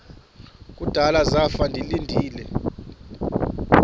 kudala zafa ndilinde